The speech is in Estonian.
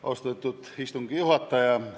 Austatud istungi juhataja!